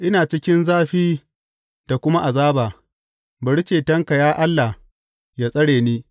Ina cikin zafi da kuma azaba; bari cetonka, ya Allah, yă tsare ni.